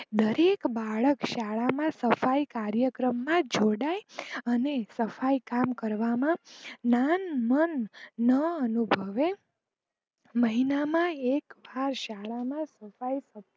દરેક બાળક શાળા ના સફાઈ કાર્યક્રમ માં જોડાઈ અને સફાઈ કામ કરવામાં નાન માન ન અનુભવે. મહિના માં એક વાર શાળા માં સફાઈ કરાવી.